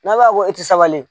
Na b'a bɔ e tɛ sabali.